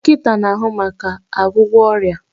Dọkịta na-ahụ maka ọgwụgwọ ọrịa